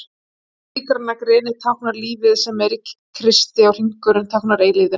hið sígræna greni táknar lífið sem er í kristi og hringurinn táknar eilífðina